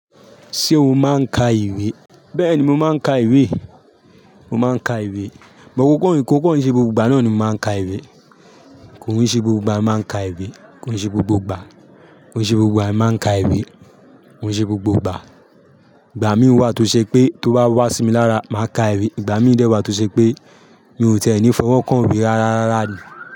Ṣé o máa ń ka ìwé? Bẹ́ẹ̀ni, mo máa ń ka ìwé. Mo máa ń ka ìwé. But kó kan se, kò kan n ṣe gbogbo ìgbà náà ni mo máa ń ka ìwé. Kò í ṣe gbogbo ìgbà mo máa ń ka ìwé, kò i ṣe gbogbo ìgbà. Kò ní ṣe gbogbo ìgbà mo máa ń ka ìwé, kò í ṣe gbogbo ìgbà. Ìgbà mí wà tó ṣe pé tó bá wà sí mi lára, màá ka ìwé. Ìgbà mí dẹ̀ wà tó ṣe pé mi ò tẹ́ni fọwọ́ kàn ìwé rárárára ni.